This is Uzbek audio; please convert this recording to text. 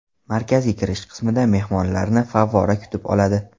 Markaziy kirish qismida mehmonlarni favvora kutib oladi.